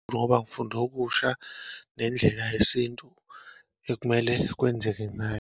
Ngoba ngifunde okusha, nendlela yesintu ekumele kwenzeke ngayo.